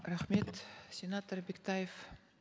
рахмет сенатор бектаев